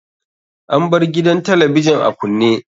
An bar gidan talabijin a kunne.